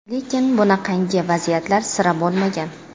Lekin bunaqangi vaziyatlar sira bo‘lmagan.